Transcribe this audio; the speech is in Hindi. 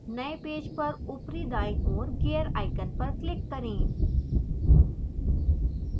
नए पेज पर ऊपरी दाईं ओर gear icon पर click करें